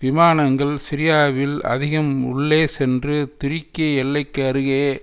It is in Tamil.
விமானங்கள் சிரியாவில் அதிகம் உள்ளே சென்று துருக்கிய எல்லைக்கு அருகே